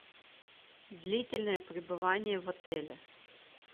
длительное пребывание в отеле